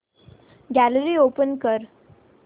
gallery open कर